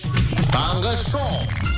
таңғы шоу